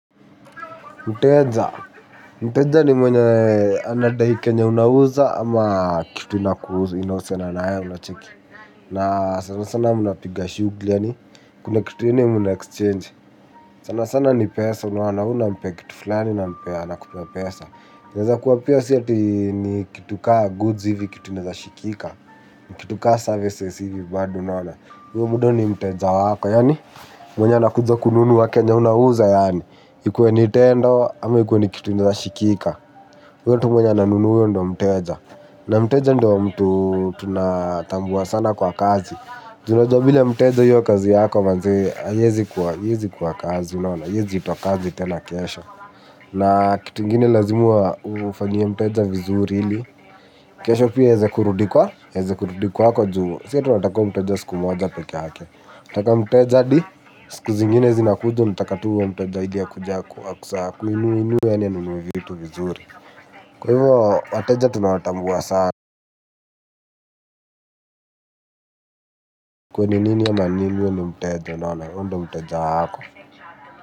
Mteja. Mteja ni mwenye anadai kenye unauza ama kitu inahusina na yeye unacheki. Na sana sana mnapiga shuguli yaani. Kuna kitu ile mnaexchange. Sana sana ni pesa unaona wewe unampea kitu fulani nampea anakupea pesa. Inaeza kuwa pia si ati ni kitu kaa goods hivi kitu inaezashikika. Kitu kaa services hivi bado unaona. Huyo buda ni mteja wako yaani. Mwenye anakuja kununua kenye unauza yaani. Ikuwe ni tendo ama ikuwe ni kitu inaeza shikika huyo tu mwenye anunua ndo mteja. Na mteja ndo mtu tunatambua sana kwa kazi. Ju unajua bila mteja hiyo kazi yako manze haiezi kuwa kazi unaona haiwezi itwa kazi tena kesho. Na kitu ngine lazima ufanyie mteja vizuri ili kesho pia aweze kurudi kwa aweze kurudi kwako juu si atakua mteja siku moja pekee yake atakaa mteja hadi siku zingine zinakuja unataka tu huo mteja akuje akuinue yaani anunue vitu vizuri. Kwa hivyo wateja tunawatambua sana akue ni nini ama ni nini huyo ni mteja unaona huyo nda mteja wako.